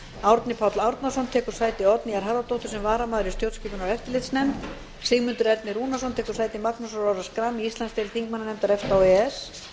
árni páll árnason tekur sæti oddnýjar harðardóttur sem varamaður í stjórnskipunar og eftirlitsnefnd sigmundur ernir rúnarsson tekur sæti magnúsar orra schram í íslandsdeild þingmannanefnda efta og e e s